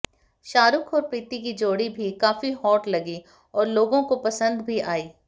शाहरुख और प्रीती की जोड़ी भी काफी हॉट लगी और लोगों को पसंद भी आई